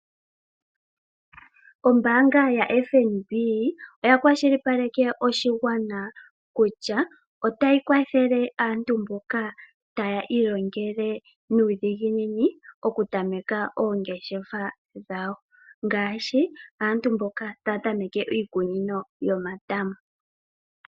Ombaanga yaFNB otayi kwashilipaleke oshigwana kutya otayi kwathele aantu mboka taya ilongele nuudhigini okutameka oongeshefa dhawo, ngaashi aantu mboka taya tameke iikunino yomatama.